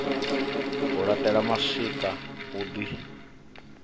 u laṱela mashika hu ḓi